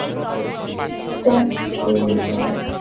প্যাঁচ তৈরি করে।